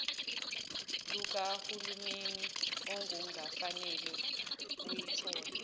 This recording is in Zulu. lukahulumeni okungafanele uyithole